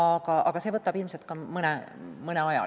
Kõik see võtab ilmselt mõne aja.